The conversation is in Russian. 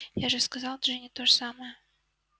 я же сказал джинни то же самое